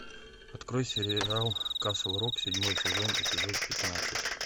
открой сериал касл рок седьмой сезон эпизод пятнадцать